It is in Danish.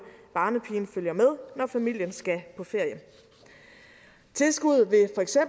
barnepigen følger med når familien skal på ferie tilskuddet